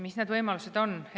Mis need võimalused on?